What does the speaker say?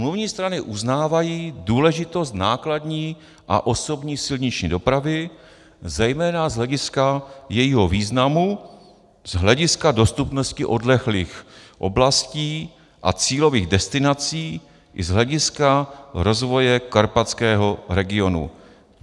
Smluvní strany uznávají důležitost nákladní a osobní silniční dopravy, zejména z hlediska jejího významu z hlediska dostupnosti odlehlých oblasti a cílových destinací i z hlediska rozvoje karpatského regionu.